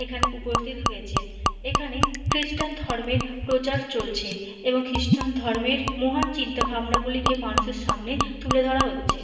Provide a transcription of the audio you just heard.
এখানে উপস্থিত হয়েছেন। এখানে খ্রীষ্টান ধর্মের প্রচার চলছে। এবং খ্রীষ্টান ধর্মের মহান চিন্তা ভাবনাগুলিকে মানুষের সামনে তুলে ধরা হচ্ছে।